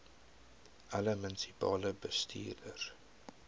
alle munisipale bestuurders